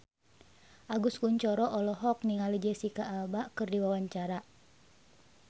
Agus Kuncoro olohok ningali Jesicca Alba keur diwawancara